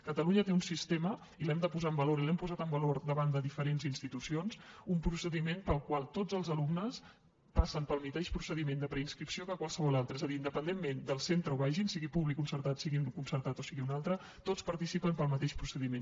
catalunya té un sistema i l’hem de posar en valor i l’hem posat en valor davant de diferents institucions un procediment pel qual tots els alumnes passen pel mateix procediment de preinscripció que qualsevol altre és a dir independentment del centre on vagin sigui públic concertat sigui concertat o en sigui un altre tots participen del mateix procediment